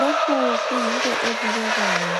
lokho kuyinto ebukekayo.